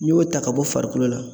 N'i y'o ta ka bɔ farikolo la.